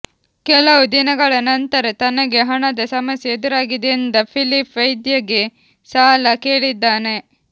ಕೆಲವು ದಿನಗಳ ನಂತರ ತನಗೆ ಹಣದ ಸಮಸ್ಯೆ ಎದುರಾಗಿದೆ ಎಂದ ಫಿಲಿಫ್ ವೈದ್ಯೆಗೆ ಸಾಲ ಕೇಳಿದ್ದಾನೆ